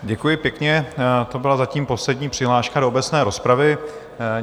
Děkuji pěkně, to byla zatím poslední přihláška do obecné rozpravy.